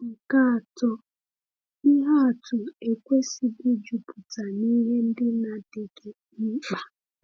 Nke atọ, ihe atụ ekwesịghị ịjupụta n’ihe ndị na-adịghị mkpa. um